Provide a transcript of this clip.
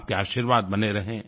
आपके आशीर्वाद बने रहें